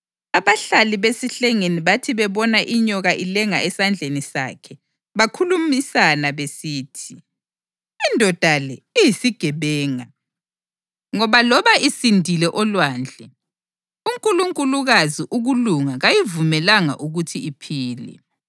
Abahlali besihlengeni bathi bebona inyoka ilenga esandleni sakhe bakhulumisana besithi, “Indoda le iyisigebenga; ngoba loba isindile olwandle, unkulunkulukazi uKulunga kayivumelanga ukuthi iphile.”